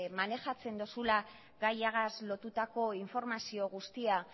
manejatzen dozula gaiagaz lotutako informazio guztia